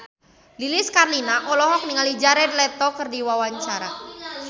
Lilis Karlina olohok ningali Jared Leto keur diwawancara